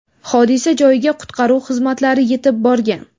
Hodisa joyiga qutqaruv xizmatlari yetib borgan.